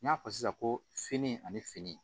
N y'a fɔ sisan ko fini ani fini